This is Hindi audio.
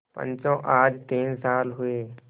पंचो आज तीन साल हुए